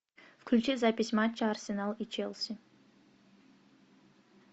включи запись матча арсенал и челси